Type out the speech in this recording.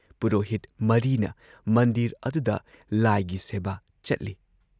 ꯄꯨꯔꯣꯍꯤꯠ ꯃꯔꯤꯅ ꯃꯟꯗꯤꯔ ꯑꯗꯨꯗ ꯂꯥꯏꯒꯤ ꯁꯦꯕꯥ ꯆꯠꯂꯤ ꯫